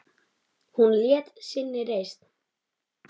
Hún hélt sinni reisn.